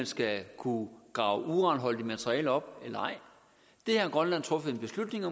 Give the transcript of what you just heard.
skal kunne grave uranholdigt materiale op eller ej det har grønland truffet en beslutning